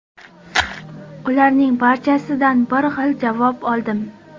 Ularning barchasidan bir xil javob oldim.